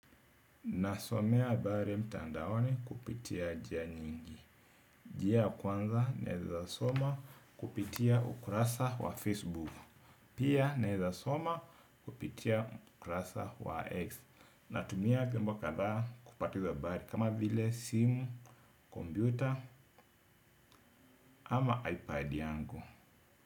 Nasomea habari mtandaoni kupitia njia nyingi. Njia ya kwanza naweza soma kupitia ukurasa wa Facebook. Pia naweza soma kupitia ukurasa wa X. Natumia vyombo kadhaa kupata hizi habari kama vile simu, kompyuta ama iPad yangu.